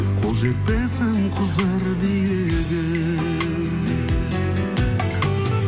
қол жетпесім кұзыр биігім